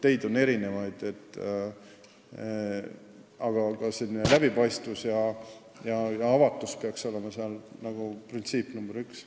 Teid on erinevaid, aga läbipaistvus ja avatus peaks olema printsiip number üks.